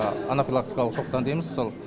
анафилактикалық шоктан дейміз сол